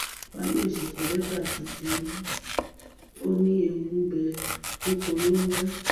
fáyọ̀ṣe kọ lẹ́tà sí tìǹbù ó ní ewu ń bẹ lóko lóńgẹ́